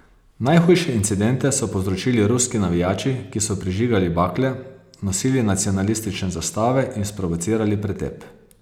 Najhujše incidente so povzročili ruski navijači, ki so prižigali bakle, nosili nacionalistične zastave in sprovocirali pretep.